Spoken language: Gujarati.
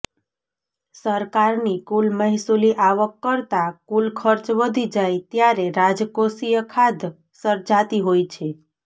સરકારની કુલ મહેસુલી આવક કરતાં કુલ ખર્ચ વધી જાય ત્યારે રાજકોષીય ખાધ સર્જાતી હોય છે